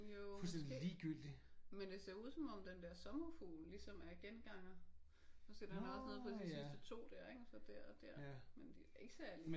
Jo måske. Men det ser ud som om at den der sommerfugl ligesom er genganger. Prøv at se der er da også noget på de sidste 2 der ik? Og så dér og dér. Men de er ikke særligt